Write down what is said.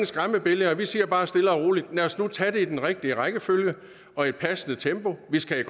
skræmmebilleder vi siger bare stille og roligt lad os nu tage det i den rigtige rækkefølge og i et passende tempo vi skal i